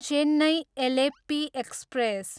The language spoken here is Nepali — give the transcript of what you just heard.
चेन्नई, एलेप्पी एक्सप्रेस